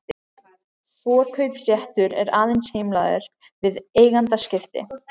Forkaupsréttur er aðeins heimilaður við eigendaskipti.